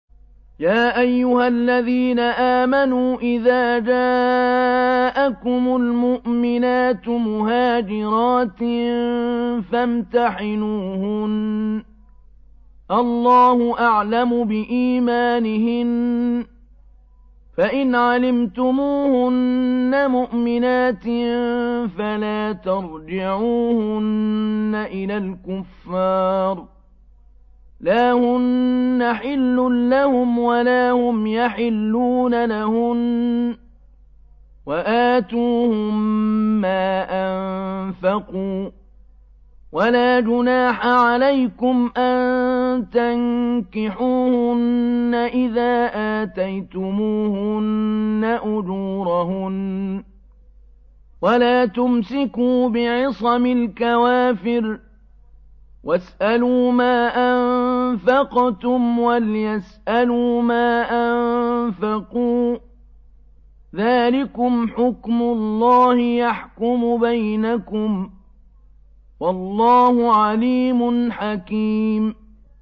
يَا أَيُّهَا الَّذِينَ آمَنُوا إِذَا جَاءَكُمُ الْمُؤْمِنَاتُ مُهَاجِرَاتٍ فَامْتَحِنُوهُنَّ ۖ اللَّهُ أَعْلَمُ بِإِيمَانِهِنَّ ۖ فَإِنْ عَلِمْتُمُوهُنَّ مُؤْمِنَاتٍ فَلَا تَرْجِعُوهُنَّ إِلَى الْكُفَّارِ ۖ لَا هُنَّ حِلٌّ لَّهُمْ وَلَا هُمْ يَحِلُّونَ لَهُنَّ ۖ وَآتُوهُم مَّا أَنفَقُوا ۚ وَلَا جُنَاحَ عَلَيْكُمْ أَن تَنكِحُوهُنَّ إِذَا آتَيْتُمُوهُنَّ أُجُورَهُنَّ ۚ وَلَا تُمْسِكُوا بِعِصَمِ الْكَوَافِرِ وَاسْأَلُوا مَا أَنفَقْتُمْ وَلْيَسْأَلُوا مَا أَنفَقُوا ۚ ذَٰلِكُمْ حُكْمُ اللَّهِ ۖ يَحْكُمُ بَيْنَكُمْ ۚ وَاللَّهُ عَلِيمٌ حَكِيمٌ